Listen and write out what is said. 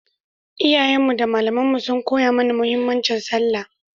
Iyayenmu da malamanmu sun koya mana muhimmancin sallah